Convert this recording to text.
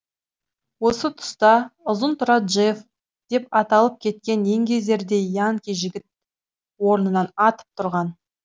осы тұста ұзынтұра джефф деп аталып кеткен еңгезердей янки жігіті орнынан атып тұрған